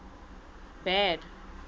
bad